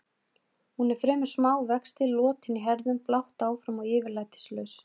Hún er fremur smá vexti, lotin í herðum, blátt áfram og yfirlætislaus.